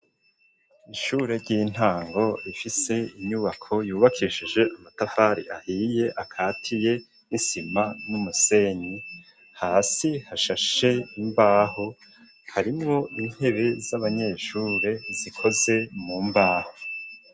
Ishure ry'intango rifise inyubako yubakishije amatafari ahiye, akatiye n'isima n'umusenyi; hasi hashashe imbaho, harimwo intebe z'abanyeshure, zikoze mu mbaho.